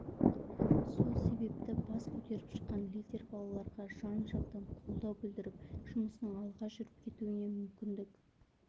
сол себепті бас көтеріп шыққан лидер балаларға жан-жақтан қолдау білдіріп жұмысының алға жүріп кетуіне мүмкіндік